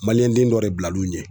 den dɔ de bilal'u ɲɛ